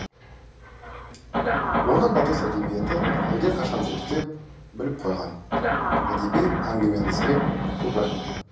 оны батыс әдебиеті әлдеқашан зерттеп біліп қойған әдеби әңгімеңізге көп рахмет